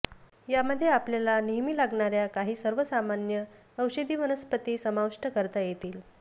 यामध्ये आपल्याला नेहमी लागणाऱ्या काही सर्वसामान्य औषधी वनस्पती समाविष्ट करता येतील